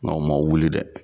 Nka u ma wuli dɛ.